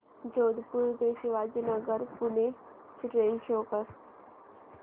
जोधपुर ते शिवाजीनगर पुणे ची train show कर